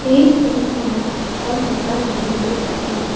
এই ছবিখনত এখন দোকান দেখিবলৈ পাইছোঁ।